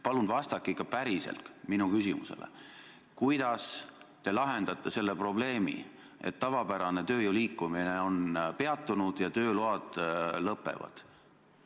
Palun vastake ikka päriselt minu küsimusele: kuidas te lahendate selle probleemi, et tavapärane tööjõu liikumine on peatunud ja tööload lõpevad?